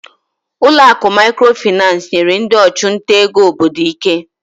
Ụlọ akụ Microfinance nyere ndị ọchụnta ego obodo ike.